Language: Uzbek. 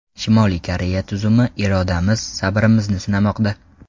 Shimoliy Koreya tuzumi irodamiz, sabrimizni sinamoqda.